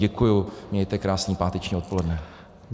Děkuju, mějte krásné páteční odpoledne.